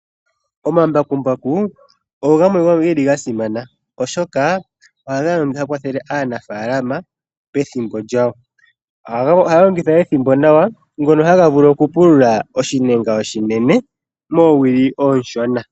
Omambakumbaku ogo gamwe geli gasimana , oshoka ohaga kwathele aanafaalama pethimbo lyawo. Ohaga kwata ethimbo nawa, ngono haga vulu okupulula oshinenga oshinene moowili oonshona.